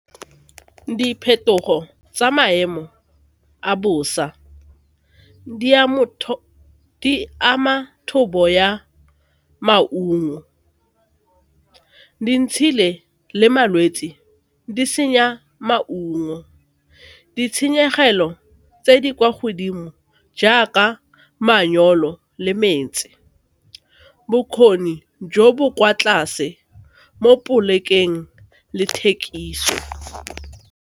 Diphetogo tsa maemo a bosa di ama thobo ya maungo, dintshi le malwetse di senya maungo, ditshenyegelo tse di kwa godimo jaaka manyoro le metsi, bokgoni jo bo kwa tlase mo polekeng le thekiso.